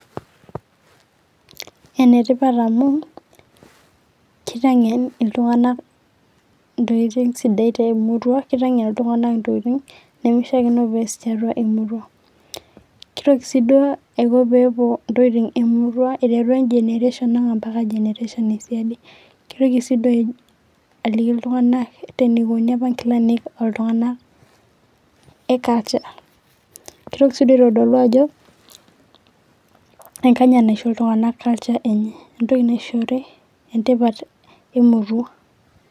enetipat amuu keiteng'en iltung'anak, ntokitin'g sidain te murua, keiteng'en itung'anak intokiting' neimeishiakino peeas tiatua emurua. keitoki sii duo aiko pee epuo itokiting' ee murua aiteru generation ang' oo mpaka [cs generation ee siadi . keitoki sii doi aliki iltung'anak eneikoni opa inkilani oo tung'anak ee culture keitoki sii aitodolu ajo enkanyit naisho iltung'anak culture enye. entoki naishori entipat emurua.